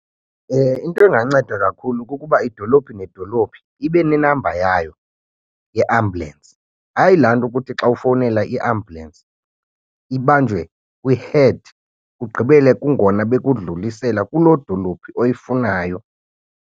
Into enganceda kakhulu kukuba idolophi nedolophi ibe ne-number yayo ye-ambulance, hayi laa nto kuthi xa ufowunela i-ambulance ibanjwe kwi-head kugqibele kungona bekudlulisela kuloo dolophu oyifunayo.